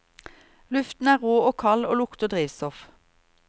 Luften er rå og kald og lukter drivstoff.